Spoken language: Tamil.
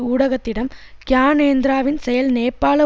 ஊடகத்திடம் க்யானேந்திராவின் செயல் நேப்பாள